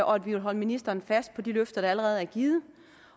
og at vi vil holde ministeren fast på de løfter der allerede er givet